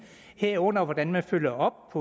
herunder hvordan man følger op